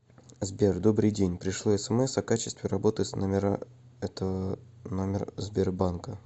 сбер добрый день пришло смс о качестве работы с номера это номер сбер банка